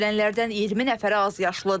Ölənlərdən 20 nəfəri azyaşlıdır.